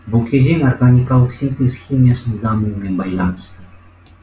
бұл кезең органикалық синтез химиясының дамуымен байланысты